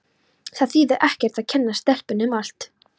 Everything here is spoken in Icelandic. Það þýðir ekkert að kenna stelpunni um allt.